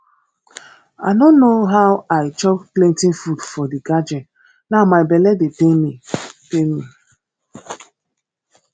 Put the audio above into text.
i no know how i chop plenty food for the gathering now my bele dey pain pain me